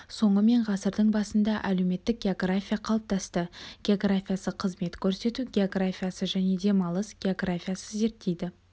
соңы мен ғасырдың басында әлеуметтік география қалыптасты географиясы қызмет көрсету географиясы және демалыс географиясы зерттейді